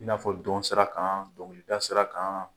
I na fɔ dɔn sira kan dɔnkilida sira kan